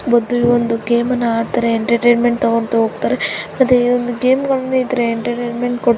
ಮೊದ್ಲು ಈ ಒಂದು ಗೇಮ್ ಅನ್ನು ಆಡ್ತಾರೆ ಎಂಟರ್ಟೈನ್ಮೆಂಟ್ ತಗೊಂಡು ಹೋಗ್ತಾರೆ ಮತ್ತೆ ಈ ಒಂದು ಗೇಮ್ಗ ಳು ಇದ್ರೆ ಎಂಟರ್ಟೈನ್ಮೆಂಟ್ --